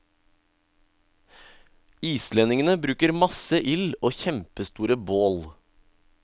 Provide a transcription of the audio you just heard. Islendingene bruker masse ild og kjempestore bål.